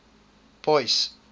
boyce